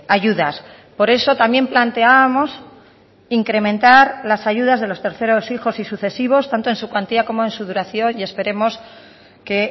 ayudas por eso también planteábamos incrementar las ayudas de los terceros hijos y sucesivos tanto en su cuantía como en su duración y esperemos que